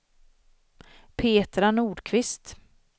Petra Nordqvist